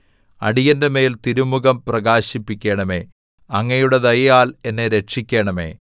അടിയന്റെമേൽ തിരുമുഖം പ്രകാശിപ്പിക്കണമേ അങ്ങയുടെ ദയയാൽ എന്നെ രക്ഷിക്കണമേ